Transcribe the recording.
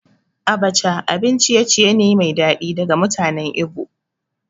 Abacha abin ciye-ciye ne mai daɗi daga mutanen Igbo